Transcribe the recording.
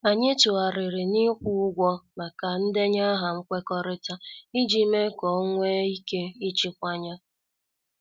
Anyị tụgharịrị na- ikwu ụgwọ maka ndenye aha nkwekọrịta ,iji mee ka ọ nwee ike ịchịkwa ya.